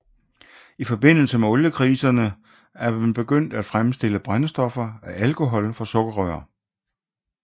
I forbindelse med oliekriserne er man begyndt at fremstille brændstoffer af alkohol fra sukkerrør